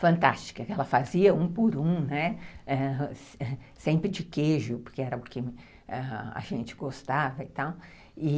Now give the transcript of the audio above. fantástica, que ela fazia um por um, né, sempre de queijo, porque era o que a gente gostava e tal.